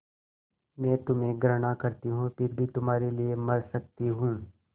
मैं तुम्हें घृणा करती हूँ फिर भी तुम्हारे लिए मर सकती हूँ